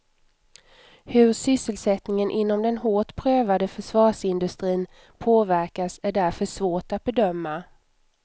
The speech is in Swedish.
Hur sysselsättningen inom den hårt prövade försvarsindustrin påverkas är därför svårt att bedöma.